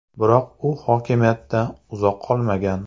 Biroq u hokimiyatda uzoq qolmagan.